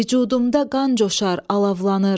Vücudumda qan coşar, alovlanır.